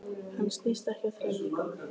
Hann snýst ekki á þrem vikum.